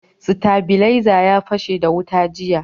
Stabilaiza ya fashe da wuta jiya.